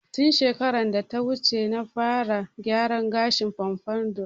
Tun shekarar data wuce na fara gyaran gashin "pompadour"